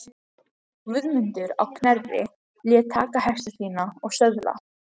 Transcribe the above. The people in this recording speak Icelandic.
Guðmundur á Knerri lét taka hesta sína og söðla.